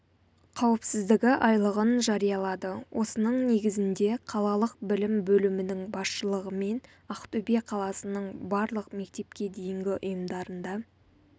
қауіпсіздігі айлығын жариялады осының негізінде қалалық білім бөлімінің басшылығымен ақтөбе қаласының барлық мектепке дейінгі ұйымдарында